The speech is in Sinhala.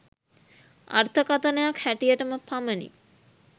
අර්ථකථනයක් හැටියටම පමණි